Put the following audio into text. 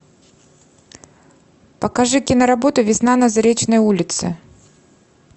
покажи киноработу весна на заречной улице